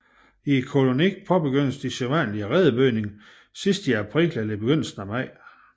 I kolonien påbegynder de sædvanligvis redebygningen sidst i april eller begyndelsen af maj